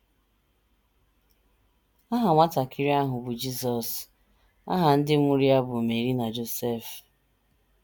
Aha nwatakịrị ahụ bụ Jizọs, aha ndị mụrụ ya bụkwa Meri na Josef.